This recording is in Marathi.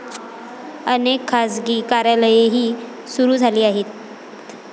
अनेक खासगी कार्यालयेही सुरू झाली आहेत.